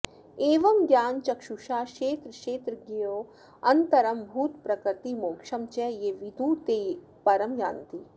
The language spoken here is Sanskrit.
एवं ज्ञानचक्षुषा क्षेत्रक्षेत्रज्ञयोः अन्तरं भूतप्रकृतिमोक्षं च ये विदुः ते परं यान्ति